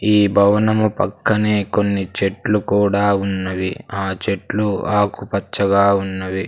ఈ భవనము పక్కనే కొన్ని చెట్లు కూడా ఉన్నవి ఆ చెట్లు ఆకుపచ్చగా ఉన్నవి.